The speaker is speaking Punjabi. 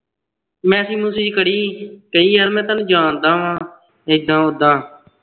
message ਮੂਸਜ ਕਰੀ ਕਈ ਯਾਰ ਮੈਂ ਤੁਹਾਨੂੰ ਜਾਣਦਾ ਵਾਂ ਏਦਾਂ ਓਦਾਂ